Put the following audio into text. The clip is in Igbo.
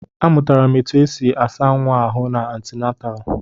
Amụtara m etu esi asa nwa ahụ n'antinataalu.